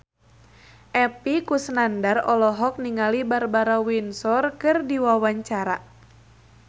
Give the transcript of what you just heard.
Epy Kusnandar olohok ningali Barbara Windsor keur diwawancara